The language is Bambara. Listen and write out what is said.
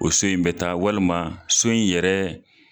O so in bɛ taa walima so in yɛrɛ,